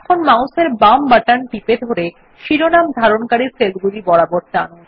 এখন মাউস এর বাম বাটন টিপে ধরে শিরোনাম ধারণকারী সেলগুলি বরাবর টানুন